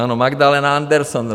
Ano, Magdalena Anderson.